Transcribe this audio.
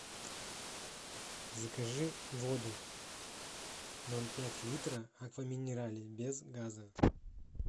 закажи воду ноль пять литра аква минерале без газа